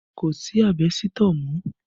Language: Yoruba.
Kò sí àbẹ́sítọ̀ mọ́